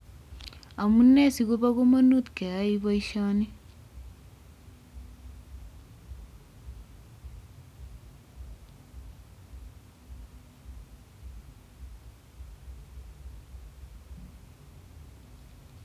Amunee sikobo kamanut keyai boisyoni?